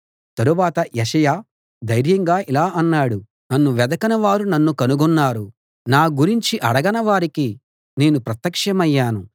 తరువాత యెషయా ధైర్యంగా ఇలా అన్నాడు నన్ను వెదకనివారు నన్ను కనుగొన్నారు నా గురించి అడగని వారికి నేను ప్రత్యక్షమయ్యాను